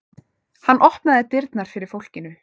Hann opnaði dyrnar fyrir fólkinu.